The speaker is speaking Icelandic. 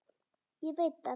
Ég veit það